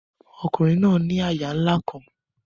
Ọkunrin naa ni àyà nla kan